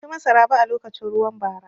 Ban ci masaraba a lokacin ruwan bara.